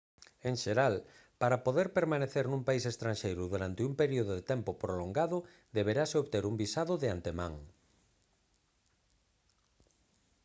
en xeral para poder permanecer nun país estranxeiro durante un período de tempo prolongado deberase obter un visado de antemán